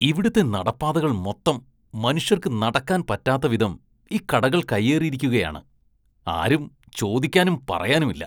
ഇവിടുത്തെ നടപ്പാതകള്‍ മൊത്തം മനുഷ്യര്‍ക്ക് നടക്കാന്‍ പറ്റാത്ത വിധം ഈ കടകള്‍ കൈയ്യേറിയിരിക്കുകയാണ്, ആരും ചോദിക്കാനും പറയാനുമില്ല.